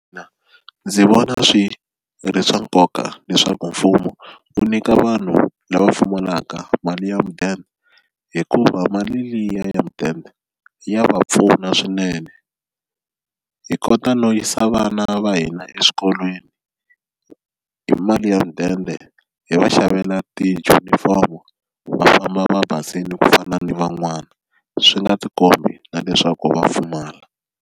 Ndzi vona swi ri swa nkoka leswaku mfumo wu nyika vanhu lava pfumalaka mali ya mudende hikuva mali liya ya mudende ya va pfuna swinene hi kota no yisa vana va hina eswikolweni hi mali ya mudende hi va xavela tijunifomo va famba va basile ku fana ni van'wana swi nga tikombi na leswaku va pfumala.